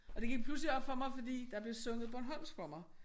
Og det gik pludselig op for mig fordi der blev sunget bornholmsk for mig